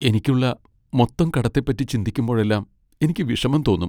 എനിക്കുള്ള മൊത്തം കടത്തെപ്പറ്റി ചിന്തിക്കുമ്പോഴെല്ലാം എനിക്ക് വിഷമം തോന്നും .